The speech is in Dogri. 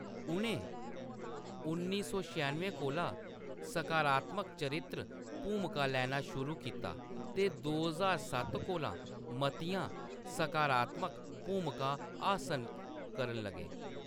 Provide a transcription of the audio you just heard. उʼनें उन्नी सौ छेआनुएं कोला सकारात्मक चरित्र भूमिकां लैना शुरू कीता ते दो ज्हार सत्त कोला मतियां सकारात्मक भूमिकां हासल करन लगे।